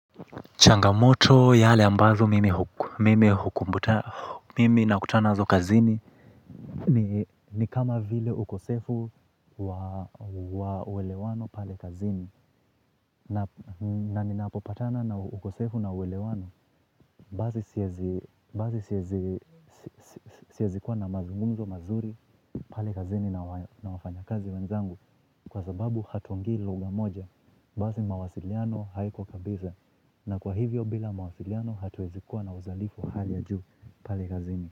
Changamoto yale ambazo mimi hukumbuta mimi nakutana nazo kazini. Ni kama vile ukosefu wa uweleano pale kazini. Na ninapopatana na ukosefu na uweleano. Basi siezi kuwa na mazungumzo mazuri pale kazini na wafanyakazi wenzangu. Kwa sababu hatuongei lugha moja, basi mawasiliano haiko kabisa. Na kwa hivyo bila mawasiliano hatuwezi kuwa na uzalifu wa hali ya juu pale kazini.